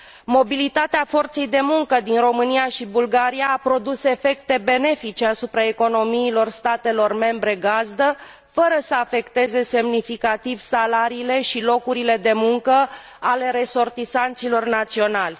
Mobilitatea forței de muncă din România și Bulgaria a produs efecte benefice asupra economiilor statelor membre gazdă, fără să afecteze semnificativ salariile și locurile de muncă ale resortisanților naționali.